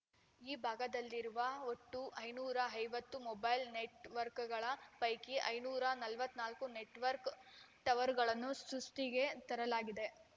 ಈ ಭಾಗದಲ್ಲಿರುವ ಒಟ್ಟು ಐನೂರ ಐವತ್ತು ಮೊಬೈಲ್‌ ನೆಟ್‌ವರ್ಕ್ಗಳ ಪೈಕಿ ಐನೂರ ನಲವತ್ತ್ ನಾಲ್ಕು ನೆಟ್‌ವರ್ಕ್ ಟವರ್‌ಗಳನ್ನು ಸುಷ್ಠಿಗೆ ತರಲಾಗಿದೆ